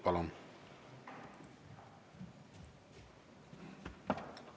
Palun!